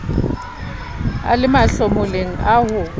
a le mahlomoleng a ho